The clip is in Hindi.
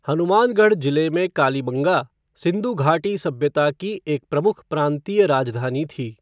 हनुमानगढ़ जिले में कालीबंगा, सिंधु घाटी सभ्यता की एक प्रमुख प्रांतीय राजधानी थी।